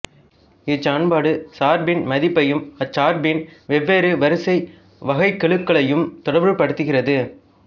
இச்சமன்பாடு சார்பின் மதிப்பையும் அச்சார்பின் வெவ்வேறு வரிசை வகைக்கெழுக்களையும் தொடர்புபடுத்துகிறது